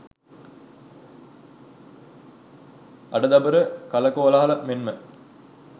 අඩ දබර කලකෝලාහල මෙන්ම